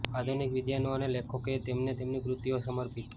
આધુનિક વિદ્વાનો અને લેખકોએ તેમને તેમની કૃતિઓ સમર્પિત